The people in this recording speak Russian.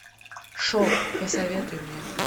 шок посоветуй мне